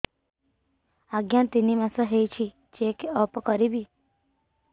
ଆଜ୍ଞା ତିନି ମାସ ହେଇଛି ଚେକ ଅପ କରିବି